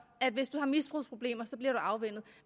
at hvis du har misbrugsproblemer bliver du afvænnet